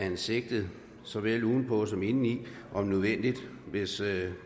en sigtet såvel udenpå som indeni om nødvendigt hvis